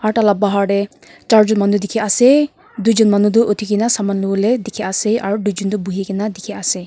aro taila bahar tey jarjun manu dekhe ase tuijun manu tu uthikena saman lobole dekhe ase aro tuijun tu bohe kena dekhe ase.